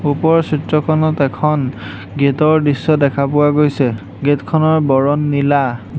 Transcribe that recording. ওপৰৰ চিত্ৰখনত এখন গেট ৰ দৃশ্য দেখা পোৱা গৈছে গেট খনৰ বৰণ নীলা।